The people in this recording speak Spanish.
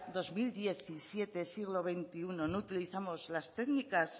dos mil diecisiete siglo veintiuno no utilizamos las técnicas